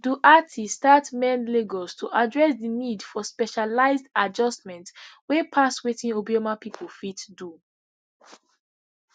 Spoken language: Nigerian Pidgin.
doherty start mend lagos to address di need for specialised adjustments wey pass wetin obioma pipo fit do